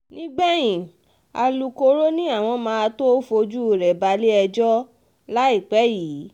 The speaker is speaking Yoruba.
nígbẹ̀yìn alūkkoro ni àwọn máa tóó fojú rẹ balẹ̀-ẹjọ́ láìpẹ́ yìí